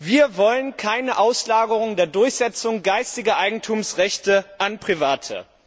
Wir wollen keine Auslagerungen der Durchsetzung geistiger Eigentumsrechte an Private.